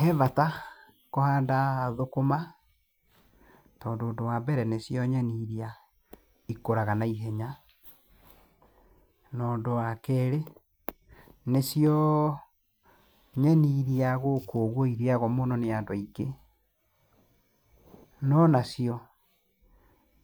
Hebata kũhanda thũkũma, tondũ ũndũ wambere nĩcio nyeni iria ikũraga naihenya. Na ũndũ wakeri, nĩcio nyeni iria gũkũ irĩagwo nĩ andũ aingĩ. No nacio